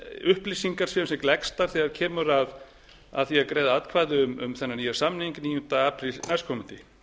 upplýsingar séu sem gleggstar þegar kemur að því að greiða atkvæði um þennan nýja samning níunda apríl næstkomandi